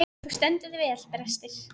Þú stendur þig vel, Brestir!